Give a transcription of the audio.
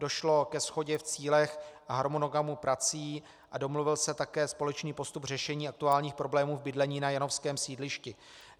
Došlo ke shodě v cílech a harmonogramu prací a domluvil se také společný postup řešení aktuálních problémů v bydlení na janovském sídlišti.